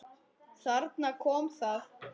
Þarna kom það.